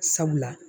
Sabula